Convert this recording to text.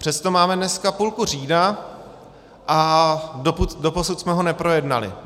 Přesto máme dneska půlku října a doposud jsme ho neprojednali.